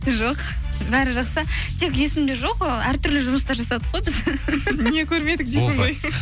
жоқ бәрі жақсы тек есімде жоқ ы әртүрлі жұмыстар жасадық қой біз не көрмедік дейсің ғой